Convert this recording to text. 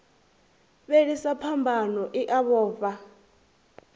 fhelisa phambano i a vhofha